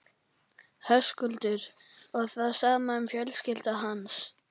Höskuldur: Og það sama um fjölskyldu hans?